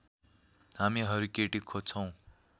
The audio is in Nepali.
हामीहरू केटी खोज्छौँ